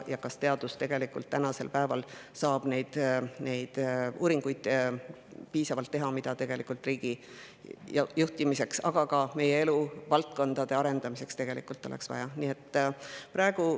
Kas teadus tegelikult saab teha piisavalt neid uuringuid, mida riigi juhtimiseks, aga ka eluvaldkondade arendamiseks oleks vaja?